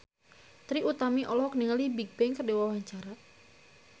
Trie Utami olohok ningali Bigbang keur diwawancara